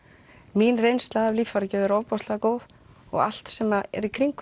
mín reynsla af líffæragjöf er ofboðslega góð og allt sem er í kringum